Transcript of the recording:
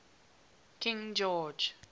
king george